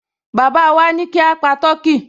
Baba wá ní kí a pa tọkí